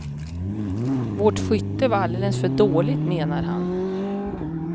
Vårt skytte var alldeles för dåligt, menar han.